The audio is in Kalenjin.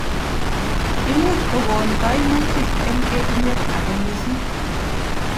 Imuch kokon kaimutik eng etunet ake missing.